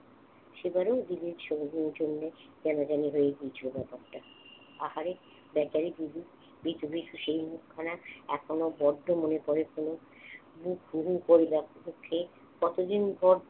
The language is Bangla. সেবারও দিদির জন্যে কেমন জানি হয়ে গিয়েছিল ব্যাপারটা। আহারে বেচারি বুবুর ভীতু ভীতু সেই মুখখানা এখনো বড্ড মনে পড়ে কেন। বুক হু হু করে ডাকতেছে কতদিন পর